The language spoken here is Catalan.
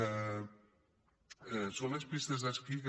són unes pistes d’esquí que